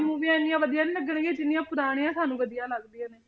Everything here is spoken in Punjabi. ਮੂਵੀਆਂ ਇੰਨੀਆਂ ਵਧੀਆ ਨੀ ਲੱਗਣਗੀਆਂ ਜਿੰਨੀਆਂ ਪੁਰਾਣੀਆਂ ਸਾਨੂੰ ਵਧੀਆ ਲੱਗਦੀਆਂ ਨੇ।